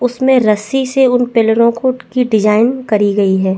उसमें रस्सी से उन पेड़ों की डिज़ाइन करी गयी है।